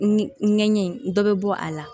Ɲɛgɛn dɔ bɛ bɔ a la